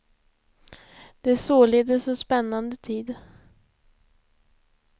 Det är således en spännande tid.